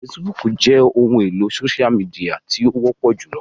Fèsìbúukù jẹ ohun elo sósia mìdìya ti o wọpọ julọ